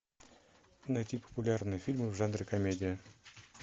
найти популярные фильмы в жанре комедия